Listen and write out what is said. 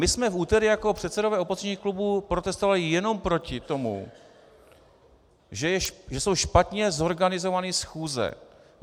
My jsme v úterý jako předsedové opozičních klubů protestovali jenom proti tomu, že jsou špatně zorganizovány schůze.